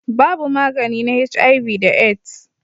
Babu magani na HIV da AIDS.